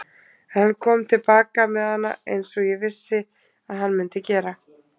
En hann kom til baka með hana eins og ég vissi að hann mundi gera.